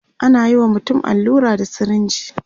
anayi wa mutum allura da sirinji